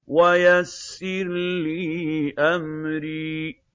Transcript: وَيَسِّرْ لِي أَمْرِي